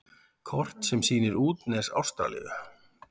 Kort sem sýnir útnes Ástralíu.